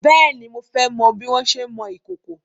Bèéni, mo fẹ́ mọ bí wọn ṣé ń mọ ìkòkò.